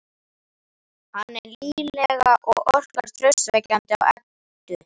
Hann er nýlegur og orkar traustvekjandi á Eddu.